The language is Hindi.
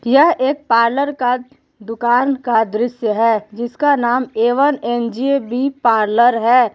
यह एक पार्लर का दुकान का दृश्य है जिसका नाम A one N J B parlour है।